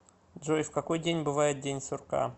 джой в какой день бывает день сурка